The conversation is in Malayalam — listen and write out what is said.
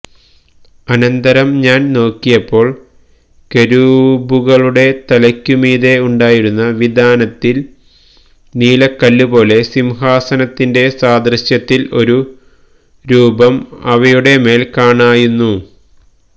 അനന്തരം ഞാൻ നോക്കിയപ്പോൾ കെരൂബുകളുടെ തലെക്കുമീതെ ഉണ്ടായിരുന്ന വിതാനത്തിൽ നീലക്കല്ലുപോലെ സിംഹാസനത്തിന്റെ സാദൃശ്യത്തിൽ ഒരു രൂപം അവയുടെമേൽ കാണായ്വന്നു